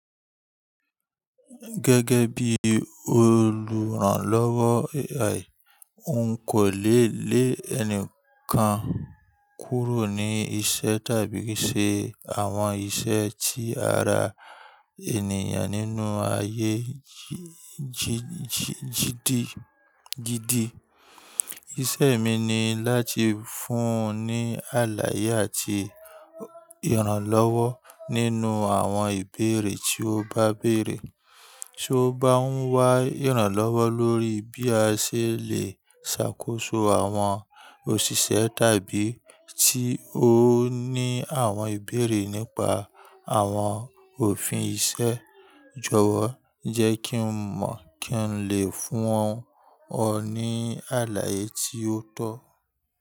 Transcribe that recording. Gẹ́gẹ́ bí olùrànlọ́wọ́ AI, n kò lé lé ẹnìkan kúrò ní iṣẹ́ tàbí ṣe àwọn iṣẹ́ tí ara ènìyàn nínú ayé jí-jídì jidi. Iṣẹ́ mi ni láti fún ọ ní àlàyé àti ìrànlọ́wọ́ nínú àwọn ìbéèrè tí o bá bèèrè. Ti o bá ń wá ìrànlọ́wọ́ lórí bí a ṣe lè ṣàkóso àwọn òṣìṣẹ́ tàbí tí ó ní àwọn ìbéèrè nípa àwọn òfin iṣẹ́? Jọ̀wọ́ jẹ́ kí n mọ̀ kí n lè fún ọ ní àlàyé tí ó tọ́.